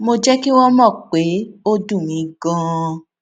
mo jé kí wón mò pé ó dùn mí ganan